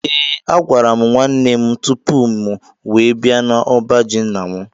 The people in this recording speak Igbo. Ee a gwara mụ nwanne mụ tụpụ mụ wee bia na ọbá jị ńnà mụ